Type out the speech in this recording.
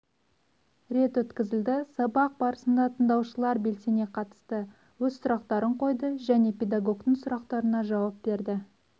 рет өткізілді сабақ барысына тыңдаушылар белсене қатысты өз сұрақтарын қойды және педагогтың сұрақтарына жауап берді